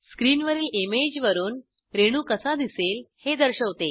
स्किनवरील image वरून रेणू कसा दिसेल हे दर्शवते